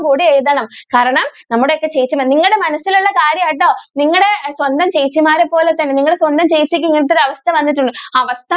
കൂടി എഴുതണം. കാരണം നമ്മുടെ ഒക്കെ ചേച്ചിമാര് നിങ്ങളുടെ മനസ്സിൽ ഉള്ള കാര്യം ആണ് കേട്ടോ നിങ്ങളുടെ സ്വന്തം ചേച്ചിമാരെ പോലെ തന്നെ നിങ്ങളുടെ ചേച്ചിക്ക് ഇങ്ങനത്തെ ഒരു അവസ്ഥ വന്നിട്ടുണ്ടോ ആ അവസ്ഥ കൂടെ എഴുതണം.